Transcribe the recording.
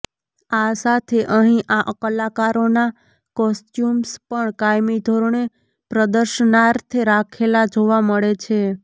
આ સાથે અહીં આ કલાકારોના કોસ્ચ્યુમ્સ પણ કાયમી ધોરણે પ્રદર્શનાર્થે રાખેલા જોવા મળે છે